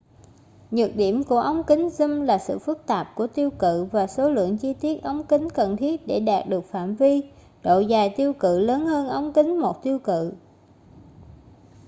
nhược điểm của ống kính zoom là sự phức tạp của tiêu cự và số lượng chi tiết ống kính cần thiết để đạt được phạm vi độ dài tiêu cự lớn hơn ống kính một tiêu cự